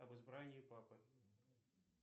об избрании папы